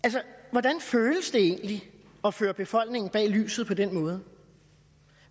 hvordan føles det egentlig at føre befolkningen bag lyset på den måde